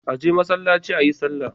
Aje masallaci ayi sallah